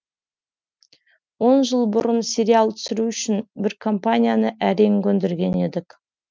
он жыл бұрын сериал түсіру үшін бір компанияны әрең көндірген едік